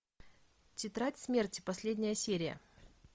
тетрадь смерти последняя серия